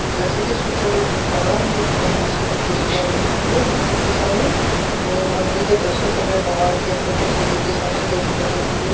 जैसे कि इस पिक्चर में देख पा रहा हूं ये एक बहोत बड़ी सी लंबी सी लाइन लगी हुई है मंदिर के सामने और मंदिर के दर्शन करने भगवान के अपने-अपने श्रद्धा के हिसाब से दर्शन करने के लिए --